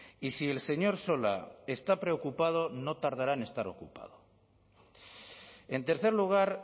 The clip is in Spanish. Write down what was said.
y si el señor sola está preocupado no tardará en estar ocupado en tercer lugar